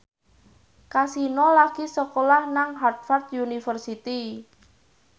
Kasino lagi sekolah nang Harvard university